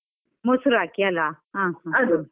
ಮೊಸ್ರು ಹಾಕಿ ಅಲ ಹ ಹ .